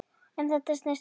Um þetta snýst málið.